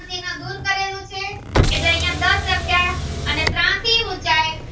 અને ત્રાસી ઉંચાઈ એ